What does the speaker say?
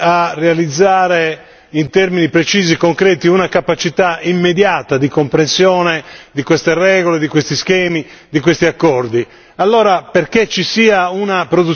non sono idonee a realizzare in termini precisi e concreti una capacità immediata di comprensione di queste regole, di questi schemi, di questi accordi.